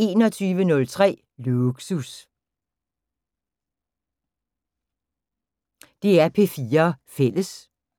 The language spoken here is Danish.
DR P4 Fælles